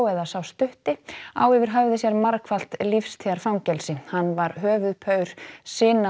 eða sá stutti á yfir höfði sér margfalt lífstíðarfangelsi hann var höfuðpaur